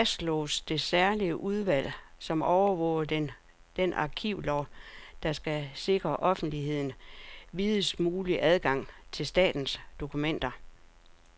Det fastslår det særlige udvalg, som overvåger den arkivlov, der skal sikre offentligheden videst mulig adgang til statens dokumenter.